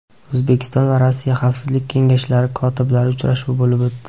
O‘zbekiston va Rossiya Xavfsizlik kengashlari kotiblari uchrashuvi bo‘lib o‘tdi.